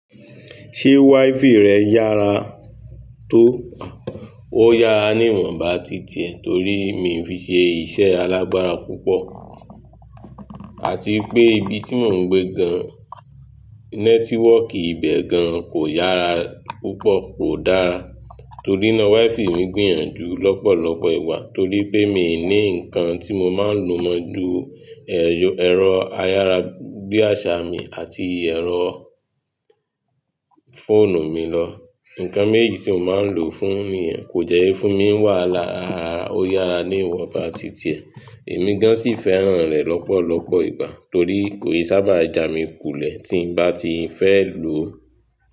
Ṣé wi-fi rẹ yára tó? Ó yára ní ìwònba ti tìẹ̀ torí mi ò fi ṣe iṣẹ́ alágbára púpọ̀. Àti pé ibi tí mò ń gbé gan, nẹ́tíwọ̀kì ibẹ̀ gan kò yára púpọ̀, kò dára. Torí náà wi-fi mi gbìyànjú lọ́pọ̀lọpọ̀ ìgbà torí pé mi ò ní nǹkan tí mo máa ń lo mọ́ ju ẹ̀rọ ayára bí àsá mi àti ẹ̀rọ fóònù mi lọ. Ǹǹkan méjejì tí mo máa ń lò fún ni yẹ̀, kò dẹ́ fún mi wà hála rárá. Ó yára ní ìwọnba ti tìẹ̀. Èmi gan sì fẹ́ràn rẹ̀ lọ́pọ̀lọpọ̀ ìgbà torí kò ì sábà jà mi kùlẹ̀ tí n bá ti fẹ́ lò ó.